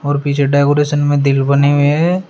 और पीछे डेकोरेशन में दिल बने हुए हैं।